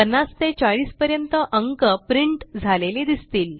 50 ते 40 पर्यंत अंक प्रिंट झालेले दिसतील